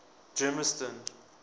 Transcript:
germiston